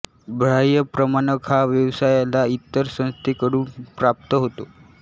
बाह्य प्रमाणक हा व्यवसायाला इतर संस्थे कडून प्राप्त होतो